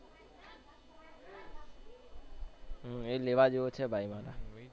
એ લેવા જેવો છે ભાઈ મારા.